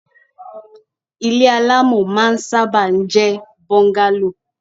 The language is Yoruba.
Ile alamọ máa ń sábà ń jẹ bungalow